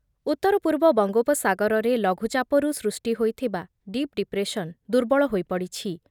ଉତ୍ତର ପୂର୍ବ ବଙ୍ଗୋପସାଗରରେ ଲଘୁଚାପରୁ ସୃଷ୍ଟି ହୋଇଥିବା ଡିପ୍ ଡିପ୍ରେସନ୍ ଦୁର୍ବଳ ହୋଇପଡ଼ିଛି ।